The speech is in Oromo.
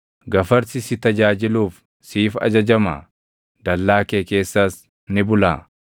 “Gafarsi si tajaajiluuf siif ajajamaa? Dallaa kee keessas ni bulaa?